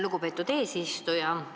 Lugupeetud eesistuja!